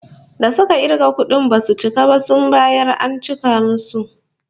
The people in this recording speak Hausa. Da suka kirga kudin basu cika ba, sun mayar an cika musu